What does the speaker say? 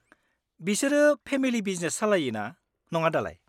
बिसोरो family business सालायोना, नङा दालाय?